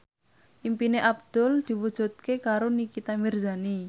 impine Abdul diwujudke karo Nikita Mirzani